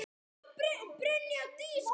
Elsku amma Dreki.